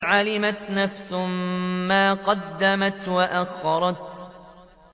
عَلِمَتْ نَفْسٌ مَّا قَدَّمَتْ وَأَخَّرَتْ